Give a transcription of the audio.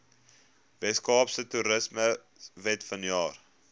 weskaapse toerismewet vanjaar